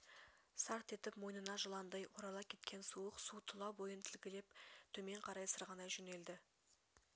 сарт етіп мойнына жыландай орала кеткен суық су тұла бойын тілгілеп төмен қарай сырғанай жөнелді